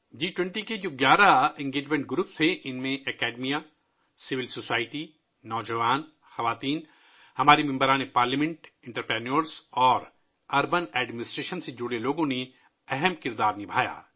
جی 20 کے ، جو گیارہ رابطہ گروپ تھے ، اُن میں تعلیمی ادارے ، شہری سماج ، نوجوان، خواتین، ہمارے ارکانِ پارلیمنٹ ، صنعت کار اور شہری انتظامیہ سے وابستہ لوگوں نے اہم کردار ادا کیا